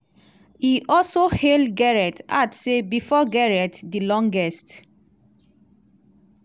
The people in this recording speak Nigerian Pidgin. e also hail gareth add say "bifor gareth di longest